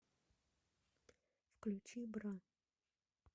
включи бра